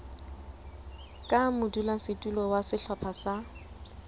ka modulasetulo wa sehlopha sa